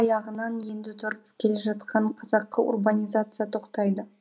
аяғынан енді тұрып келе жатқан қазақы урбанизация тоқтайды